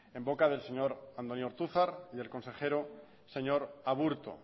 en boca del señor andoni ortuzar y el consejero señor aburto